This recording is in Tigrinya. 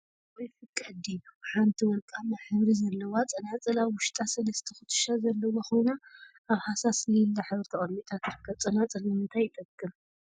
ንክገብርኦ ይፍቀድ ድዩ? ሓንቲ ወርቃማ ሕብሪ ዘለዋ ፀናፅል አብ ውሽጣ ሰለስተ ኩትሻ ዘለውዋ ኮይና አብ ሃሳስ ሊላ ሕብሪ ተቀሚጣ ትርከብ፡፡ ፀናፀል ንምንታይ ይጠቅም?